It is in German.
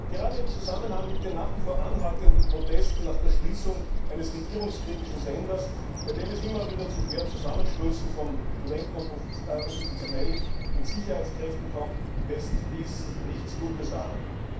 Gerade im Zusammenhang mit den nach wie vor anhaltenden Protesten nach der Schließung eines regierungskritischen Senders, bei denen es immer wieder zu schweren Zusammenstößen von Studenten und Oppositionellen mit Sicherheitskräften kommt, lässt dies nichts Gutes erahnen.